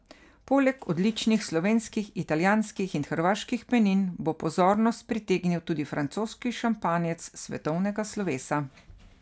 Poleg odličnih slovenskih, italijanskih in hrvaških penin bo pozornost pritegnil tudi francoski šampanjec svetovnega slovesa.